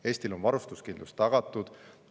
Eestil on varustuskindlus tagatud.